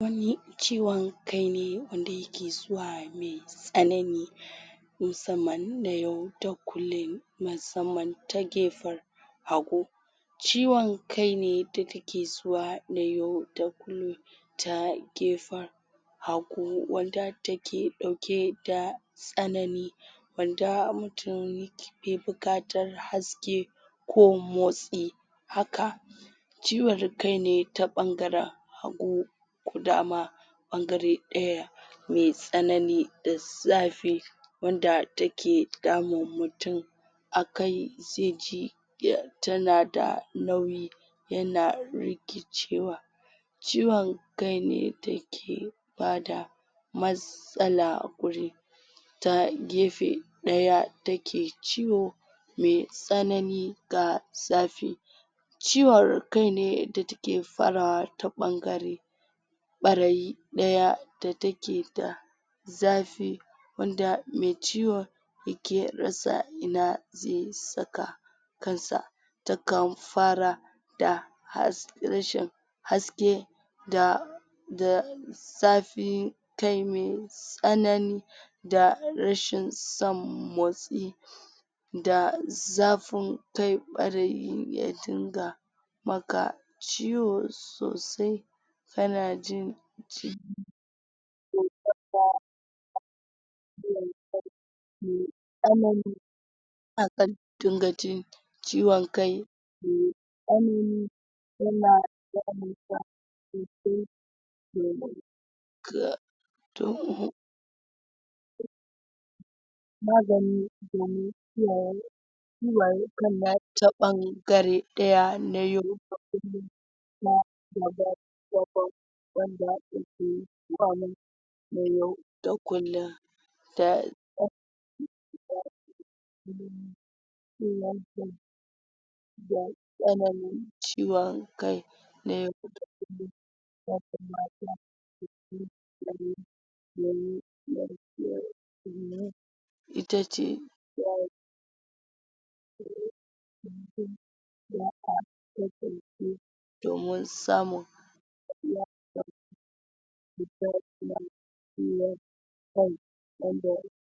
ciwon kai ne wanda yake zuwa me tsanani musamman na yau da kullum musamman ta gefen hagu ciwon kai ne da take zuwa na yau da kullum ta gefen hagu wanda take ɗauke da tsanani wanda mutum be buƙatar haske ko motsi haka ciwon kai ne ta ɓangara hagu ko dama ɓangare ɗaya me tsanani da zafi wanda take damun mutum a kai ze ji tana da nauyi yana rikicewa ciwon kaine dake ba da matsala a guri ta gefe ɗaya take ciwo me tsanani ga zafi ciwar kai ne da take farawa ta ɓangare ɓarayi ɗa take da zafi wanda me ciwon yake rasa ina ze saka kan sa ta kan fara da rashin haske da zafi tsanani da rashin son motsi da zafin kai ɓarayin ya dinga maka ciwo sosai kana jin me tsanani zaka dinga ji ciwon kai me tsanani yana damunka sosai magani domin ɓangare ɗaya na na yau da kullum ta da tsananin ciwon kai me rashi lafiya ita ce domin samun